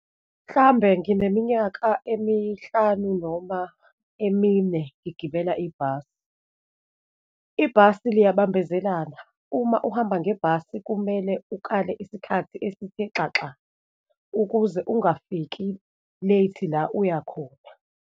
Mhlambe ngineminyaka emihlanu noma emine ngigibela ibhasi. Ibhasi liyabambezelana, uma uhamba ngebhasi, kumele ukale isikhathi esithe xaxa ukuze ungafiki late la uyakhona.